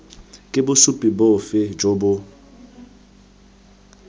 ke bosupi bofe jo bo